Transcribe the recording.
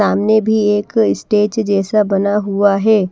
सामने भी एक स्टेज जैसा बना हुआ है।